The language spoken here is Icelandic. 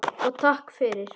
Og takk fyrir.